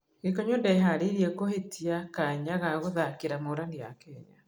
Gĩkonyo ndeharĩirie kũhĩtia kanya ga gũthakĩra Morani ya Kenya.